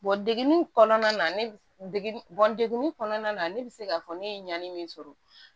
degeli kɔnɔna na ne degun degun kɔnɔna na ne bɛ se k'a fɔ ne ye ɲani min sɔrɔ